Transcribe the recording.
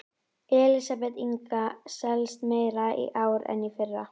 Elísabet Inga: Selst meira í ár en í fyrra?